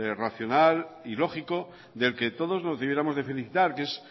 racional y lógico del que todos nos debiéramos de felicitar que es